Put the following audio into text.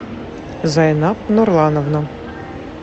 зайнаб нурлановна